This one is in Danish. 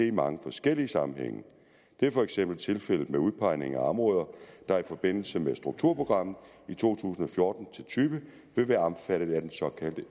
i mange forskellige sammenhænge det er for eksempel tilfældet med udpegning af områder der i forbindelse med strukturprogrammet i to tusind og fjorten til tyve vil være omfattet af den såkaldte